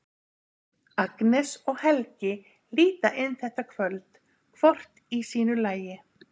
Agnes og Helgi líta inn þetta kvöld, hvort í sínu lagi.